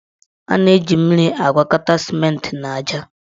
A na-eji mmiri agwakọta simenti na aja.